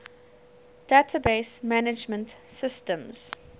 database management systems